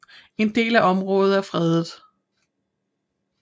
En del af området er fredet